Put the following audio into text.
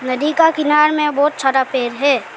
नदी का किनारा में बहुत सारा पेड़ है।